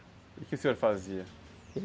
E o que o senhor fazia?